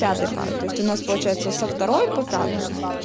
пятая пара то есть у нас получается со второй по пятую